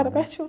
né?ra pertinho.